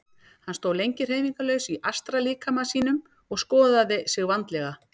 Hann stóð lengi hreyfingarlaus í astrallíkama sínum og skoðaði sig vandlega.